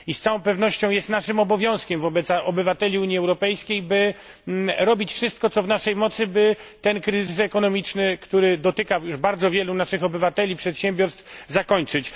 I z całą pewnością jest naszym obowiązkiem wobec obywateli Unii Europejskiej zrobienie wszystkiego, co w naszej mocy, by ten kryzys ekonomiczny, który dotyka już bardzo wielu naszych obywateli, przedsiębiorstw, zakończyć.